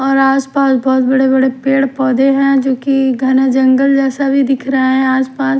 और आसपास बहुत बड़े-बड़े पेड़ पौधे हैं जो कि घना जंगल जैसा भी दिख रहा है आसपास--